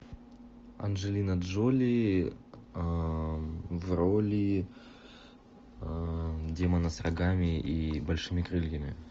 анджелина джоли в роли демона с рогами и большими крыльями